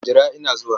Jira ina zuwa!